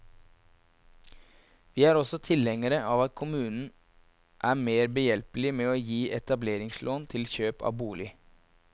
Vi er også tilhengere av at kommunen er mer behjelpelig med å gi etableringslån til kjøp av bolig.